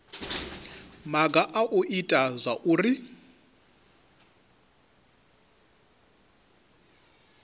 maga a u ita zwauri